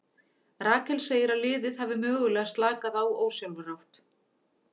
Rakel segir að liðið hafi mögulega slakað á ósjálfrátt.